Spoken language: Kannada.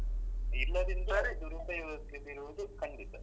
ಇಲ್ಲದಿದ್ರೆ ದುರುಪಯೋಗಕ್ಕೆ ಬೀಳುವುದು ಖಂಡಿತ.